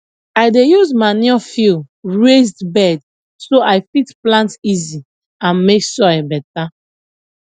i dey use manure fill raised bed so i fit plant easy and make soil better